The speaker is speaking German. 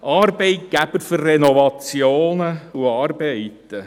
Arbeitgeber für Renovationen und andere Arbeiten.